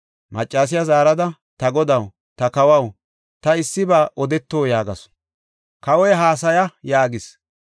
Maccasiya zaarada, “Ta godaw, ta kawaw, ta issiba odeto” yaagasu. Kawoy, “Haasaya” yaagis.